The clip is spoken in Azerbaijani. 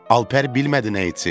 Alper bilmədi nə etsin.